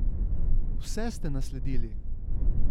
Vse ste nasledili!